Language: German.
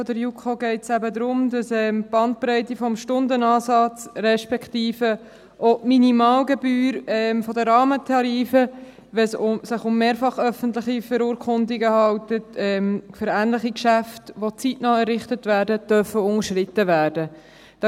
Bei diesem Antrag der Minderheit der JuKo geht es eben darum, dass wenn es sich um mehrfach öffentliche Verurkundungen handelt, für ähnliche Geschäfte, die zeitnah errichtet werden, die Bandbreite des Stundenansatzes, respektive auch die Minimalgebühr der Rahmentarife, unterschritten werden dürfen.